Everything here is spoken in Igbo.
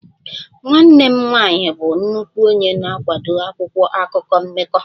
Nwanne m nwanyị bụ nnukwu onye na-akwado akwụkwọ akụkọ mmekọ